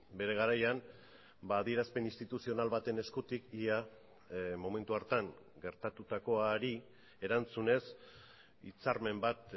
bere garaian adierazpen instituzional baten eskutik ia momentu hartan gertatutakoari erantzunez hitzarmen bat